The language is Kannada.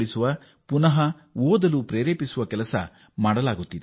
ಮತ್ತು ಅವರು ಮತ್ತೆ ಶಿಕ್ಷಣ ಪಡೆಯುವಂತೆ ಪ್ರೇರೇಪಿಸಲಾಗುತ್ತಿದೆ